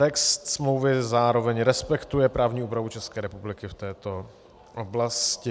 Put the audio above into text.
Text smlouvy zároveň respektuje právní úpravu České republiky v této oblasti.